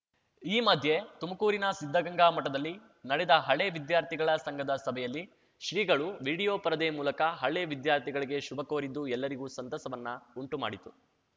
ಈ ಮಧ್ಯೆ ತುಮಕೂರಿನ ಸಿದ್ಧಗಂಗಾ ಮಠದಲ್ಲಿ ನಡೆದ ಹಳೆ ವಿದ್ಯಾರ್ಥಿಗಳ ಸಂಘದ ಸಭೆಯಲ್ಲಿ ಶ್ರೀಗಳು ವಿಡಿಯೋ ಪರದೆ ಮೂಲಕ ಹಳೆ ವಿದ್ಯಾರ್ಥಿಗಳಿಗೆ ಶುಭ ಕೋರಿದ್ದು ಎಲ್ಲರಿಗೂ ಸಂತಸವನ್ನ ಉಂಟು ಮಾಡಿತು